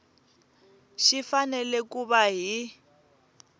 xi fanele ku va hi